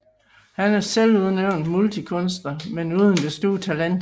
Han er selvudnævnt multikunstner men uden det store talent